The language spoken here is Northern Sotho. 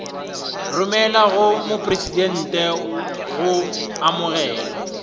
romelwa go mopresidente go amogelwa